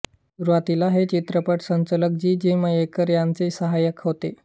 सुरुवातीला ते चित्रपट संकलक जी जी मयेकर यांचे साहाय्यक होते